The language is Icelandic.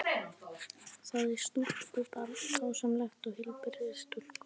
Það er stúlkubarn, dásamleg og heilbrigð stúlka.